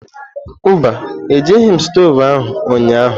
Mba, Ejighị m stovu ahụ ụnyahụ.